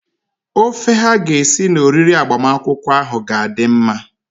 Ofe ha ga-esi na oriri agbamakwụkwọ ahụ ga-adị mma.